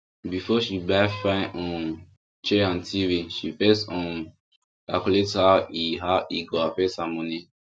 before she buy fine um chair and tv she first um calculate how e how e go affect her money